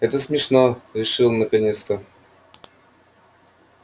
это смешно решил он наконец-то